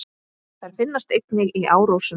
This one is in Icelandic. Þær finnast einnig í árósum.